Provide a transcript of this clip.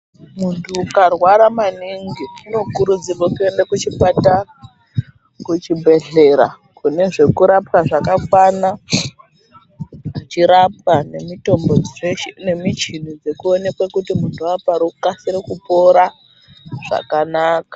Muntu ukarwara maningi unokirudzirwa kuenda kuchipatara, kuchibhehlera kune zvekurapa zvakakwana, uchirapwa nemitombo dzese, nemichini dzekuona kuti muntu wapari kut ukasike kupora zvakanaka.